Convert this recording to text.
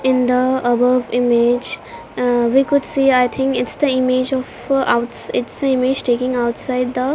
in the above image ah we could see i think its the image of outs its a image taking outside the --